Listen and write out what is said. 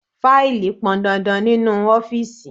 Faili pọn dandan nínú ọ́fíìsì.